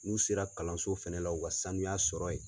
N'u sera kalanso fɛnɛ la u ka sanuya sɔrɔ ye.